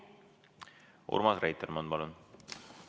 Urmas Reitelmann, palun!